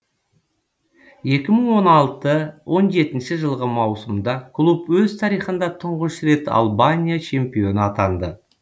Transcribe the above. екі мың он алты он жетінші жылғы маусымда клуб өз тарихында тұңғыш рет албания чемпионы атанды